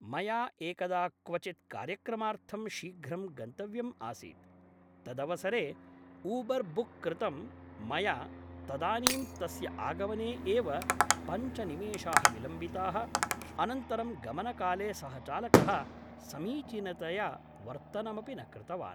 मया एकदा क्वचित् कार्यक्रमार्थं शीघ्रं गन्तव्यं आसीत् तदवसरे ऊबर् बुक् कृतम् मया तदानीम् तस्य आगमने एव पञ्चनिमेषाः विलम्बिताः अनन्तरं गमनकाले सः चालकः समीचीनतया वर्तनमपि न कृतवान्